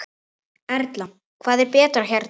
Erla: Hvað er betra hérna?